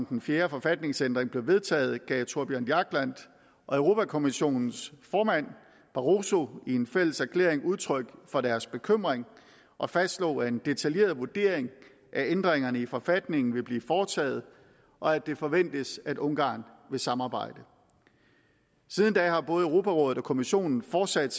den fjerde forfatningsændring blev vedtaget gav thorbjørn jagland og europa kommissionens formand barosso i en fælleserklæring udtryk for deres bekymring og fastslog at en detaljeret vurdering af ændringerne i forfatningen vil blive foretaget og at det forventes at ungarn vil samarbejde siden da har både europarådet og kommissionen fortsat